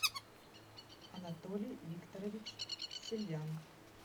анатолий викторович сельвян